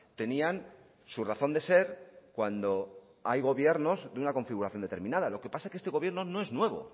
tenían su razón de ser cuando hay gobiernos de una configuración determinada lo que pasa es que este gobierno no es nuevo